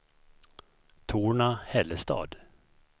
Torna-Hällestad